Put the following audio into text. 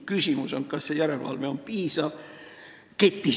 Küsimus on, kas see ketisisene järelevalve on piisav.